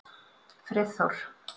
Friðþór